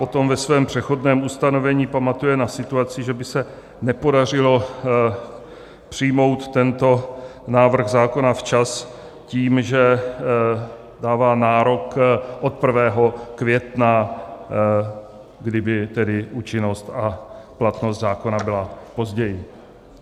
Potom ve svém přechodném ustanovení pamatuje na situaci, že by se nepodařilo přijmout tento návrh zákona včas tím, že dává nárok od 1. května, kdyby tedy účinnost a platnost zákona byla později.